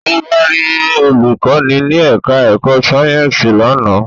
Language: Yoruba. Ó wá rí olùkọ́ni ní ẹ̀ká ẹ̀kọ́ Sáyẹ̀nsì lánàá